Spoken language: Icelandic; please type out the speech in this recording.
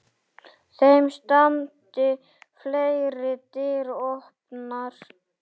Þeim standi fleiri dyr opnar.